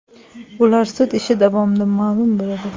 Ular sud ishi davomida ma’lum bo‘ladi.